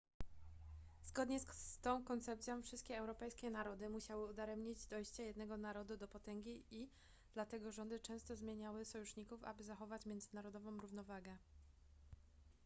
zgodnie z tą koncepcją wszystkie europejskie narody musiały udaremniać dojście jednego narodu do potęgi i dlatego rządy często zmieniały sojuszników aby zachować międzynarodową równowagę